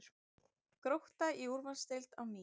Grótta í úrvalsdeild á ný